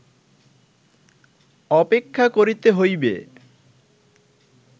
অপেক্ষা করিতে হইবে